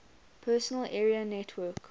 personal area network